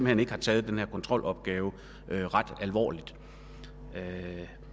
hen ikke har taget den her kontrolopgave ret alvorligt